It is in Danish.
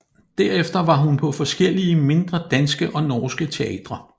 Derefter var hun på forskellige mindre danske og norske teatre